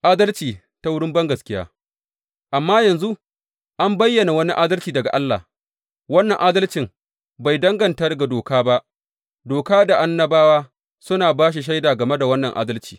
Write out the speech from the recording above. Adalci ta wurin bangaskiya Amma yanzu an bayyana wani adalci daga Allah, wannan adalcin bai danganta ga doka ba, Doka da Annabawa suna ba da shaida game da wannan adalci.